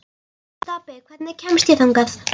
Stapi, hvernig kemst ég þangað?